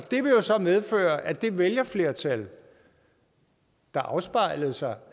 det vil så medføre at det vælgerflertal der afspejlede sig